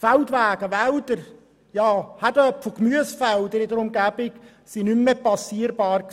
Feldwege, Wälder, ja Kartoffel- und Gemüsefelder in der Umgebung waren nicht mehr passierbar.